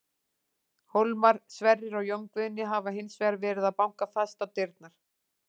Hólmar, Sverrir og Jón Guðni hafa hins vegar verið að banka fast á dyrnar.